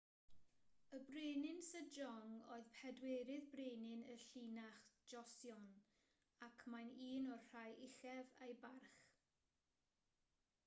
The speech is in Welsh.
y brenin sejong oedd pedwerydd brenin y llinach joseon ac mae'n un o'r rhai uchaf ei barch